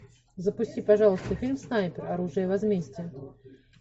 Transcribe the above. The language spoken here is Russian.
запусти пожалуйста фильм снайпер оружие возмездия